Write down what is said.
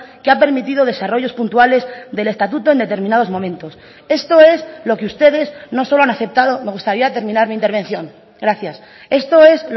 que ha permitido desarrollos puntuales del estatuto en determinados momentos esto es lo que ustedes no solo han aceptado me gustaría terminar mi intervención gracias esto es